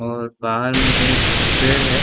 और बाहर में एक पेड़ है।